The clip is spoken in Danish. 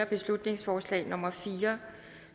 beslutningsforslag nummer b fire